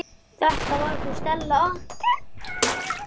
Þetta var hún Stella okkar.